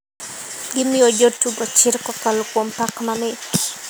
Gimiyo jo tugo chir kakolo kuom pak mamit.